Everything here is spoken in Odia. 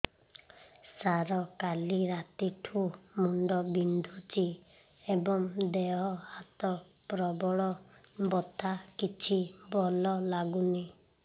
ସାର କାଲି ରାତିଠୁ ମୁଣ୍ଡ ବିନ୍ଧୁଛି ଏବଂ ଦେହ ହାତ ପ୍ରବଳ ବଥା କିଛି ଭଲ ଲାଗୁନି